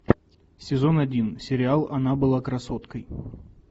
сезон один сериал она была красоткой